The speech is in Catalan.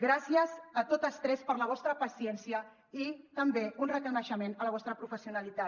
gràcies a totes tres per la vostra paciència i també un reconeixement a la vostra professionalitat